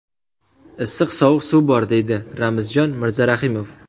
Issiq-sovuq suv bor” deydi Ramzjon Mirzarahimov.